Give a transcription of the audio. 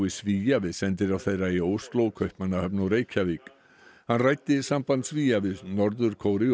Svía við sendiráð þeirra í Ósló Kaupmannahöfn og Reykjavík hann ræddi samband Svía við Norður Kóreu